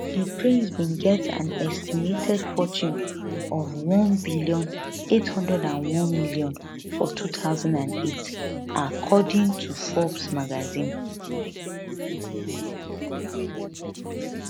di prince bin get an estimated fortune of 1bn 801m for 2008according to forbes magazine